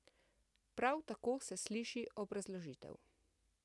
Prav tako se sliši obrazložitev.